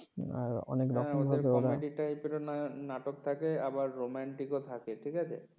হ্যাঁ ওদের comedy type র নাটক থাকে আবার romantic ও থাকে ঠিক আছে